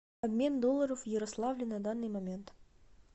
обмен долларов в ярославле на данный момент